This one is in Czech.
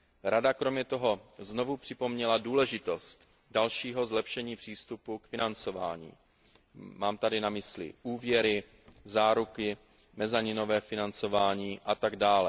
Rada kromě toho znovu připomněla důležitost dalšího zlepšení přístupu k financování mám tady na mysli úvěry, záruky, mezaninové financování atd.